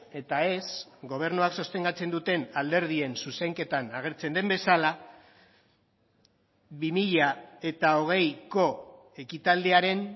eta ez gobernuak sostengatzen duten alderdien zuzenketan agertzen den bezala bi mila hogeiko ekitaldiaren